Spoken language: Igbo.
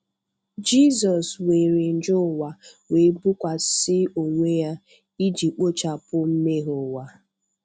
Jesụ weere njọ ụwa we bọkwasi ọwe ya iji kpọchapụ mmehe ụwa.